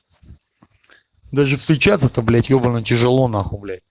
даже встречаться то блять ебанный тяжело нахуй блять